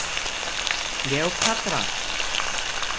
Kleópatra